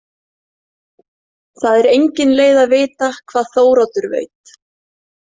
Það er engin leið að vita hvað Þóroddur veit.